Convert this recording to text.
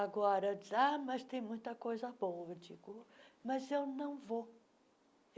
Agora diz ah mas tem muita coisa boa, digo mas eu não vou.